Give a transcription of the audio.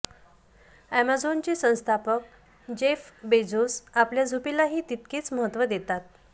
अॅमेझॉनचे संस्थापक Jeff Bezos आपल्या झोपेलाही तितकेच महत्त्व देतात